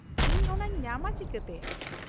-ᱤᱧ ᱚᱱᱟᱧ ᱧᱟᱢᱟ ᱪᱤᱠᱟᱹᱛᱮ ?